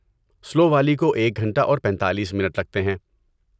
سلو والی کو ایک گھنٹہ اور پیتالیس منٹ لگتے ہیں